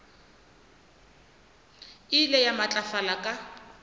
e ile ya matlafala ka